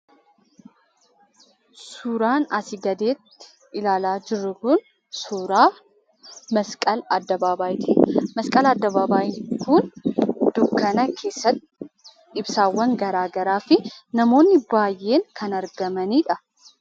Suuraan asii gaditti ilaalaa jirru kun suuraa ´masqal addabaabayii´ti. Masqal addabaabayiin kun dukkana keessatti ibsaawwan garaagaraa fi ibsaawwan baay'een kan argamanidha.